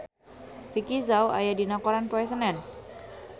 Vicki Zao aya dina koran poe Senen